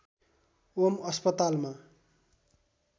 ओम अस्पतालमा